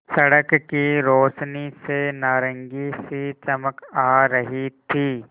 सड़क की रोशनी से नारंगी सी चमक आ रही थी